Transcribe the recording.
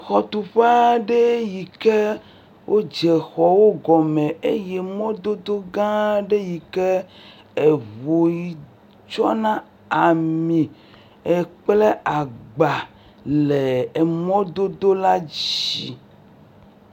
Xɔtuƒe aɖe yike wodze xɔwo gɔme eye mɔdodogã aɖe yike ʋu yi tsɔna ami kple agbã le mɔdodo la dzi